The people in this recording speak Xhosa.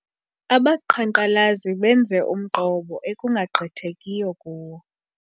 Abaqhankqalazi benze umqobo ekungagqithekiyo kuwo.